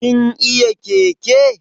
Kin iya keke?